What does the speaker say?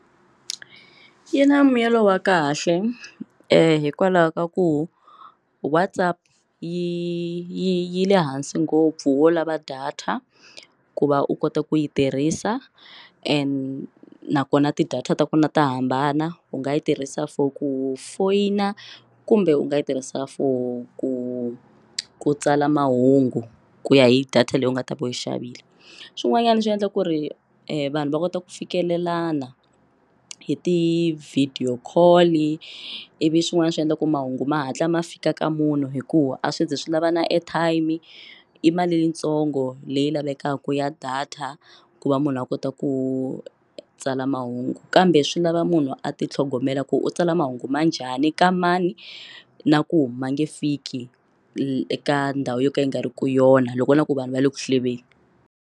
Yi na mbuyelo wa kahle hikwalaho ka ku WhatsApp yi yi yi le hansi ngopfu wo lava data ku va u kota ku yi tirhisa and nakona ti data ta ku na ta hambana u nga yi tirhisa for ku foyina kumbe u nga yi tirhisa for ku ku tsala mahungu ku ya hi data leyi u nga ta va yi xavile swin'wanyana swi endla ku ri vanhu va kota ku fikelelana hi ti video call i ivi swin'wana swi endla ku mahungu ma hatla ma fika ka munhu hikuva a swi zi swi lava na airtime i mali yintsongo leyi lavekaka ya data ku va munhu a kota ku tsala mahungu kambe swi lava munhu a ti tlhogomela ku u tsala mahungu ma njhani ka mani na ku huma nge fiki eka ndhawu yo ka yi nga ri ki yona loko na ku vanhu va le ku hlulekeni.